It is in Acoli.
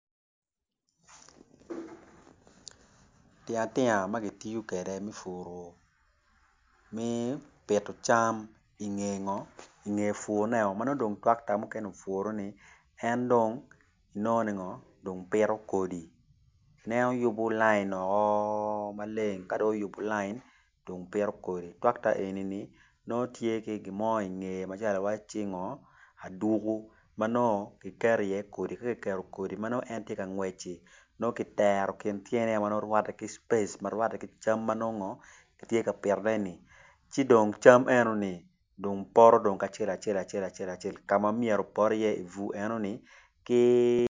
Tingatianga ma kitiyo kwede me pito cam en pito kodi en yubo line maleng. Tractor eni tye ki gin mo i ngeye ma ineno i wacci aduku ma kiketo iye kodi.